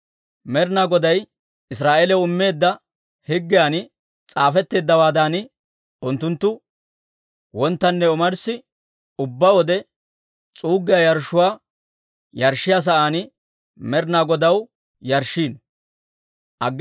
Med'inaa Goday Israa'eeliyaw immeedda higgiyan s'aafetteeddawaadan, unttunttu wonttanne omarssi ubbaa wode s'uuggiyaa yarshshuwaa yarshshiyaa sa'aan Med'inaa Godaw yarshshiino.